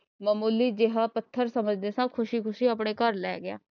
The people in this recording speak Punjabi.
ਮਾਮੂਲੀ ਜਿਹਾ ਪੱਥਰ ਸਮਝਦੇ ਸਾਂ ਖੁਸ਼ੀ ਆਪਣੇ ਘਰ ਲਏ ਗਿਆ।